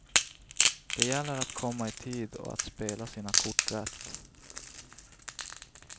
Det gäller att komma i tid och att spela sina kort rätt.